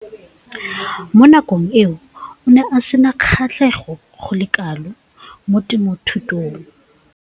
Mo nakong eo o ne a sena kgatlhego go le kalo mo temothuong.